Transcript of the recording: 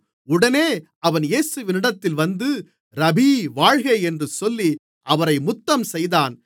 உடனே அவன் இயேசுவினிடத்தில் வந்து ரபீ வாழ்க என்று சொல்லி அவரை முத்தம்செய்தான்